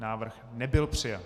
Návrh nebyl přijat.